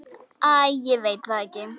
Æ, ég veit það ekki.